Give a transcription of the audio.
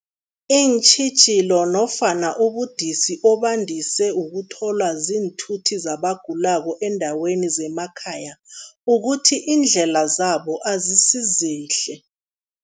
Iintjhijilo nofana ubudisi obandise ukutholwa ziinthuthi zabagulako eendaweni zemakhaya, ukuthi iindlela zabo azisizihle.